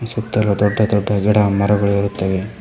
E ಸುತ್ತಲು ದೊಡ್ಡ ದೊಡ್ಡ ಗಿಡ ಮರಗಳು ಇರುತ್ತವೆ.